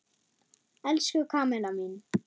Elsku Kamilla mín.